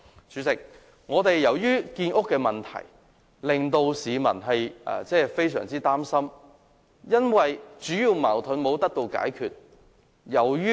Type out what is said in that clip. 主席，建屋的問題已令市民非常擔心，而主要的矛盾亦未獲解決。